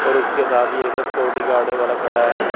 और उसके साथ ही एक सिक्योरिटी गार्ड वाला खड़ा है।